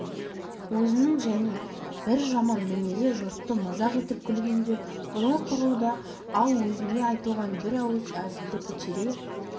өзінің және бір жаман мінезі жұртты мазақ етіп күлгенде құдай құрлы да ал өзіне айтылған бір ауыз әзілді көтере